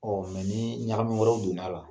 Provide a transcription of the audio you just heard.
Ɔ ni ɲagami wɛrɛw donna a la